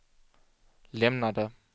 lämnade